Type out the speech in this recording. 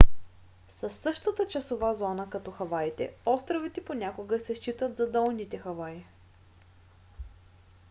със същата часова зона като хаваите островите понякога се считат за долните хаваи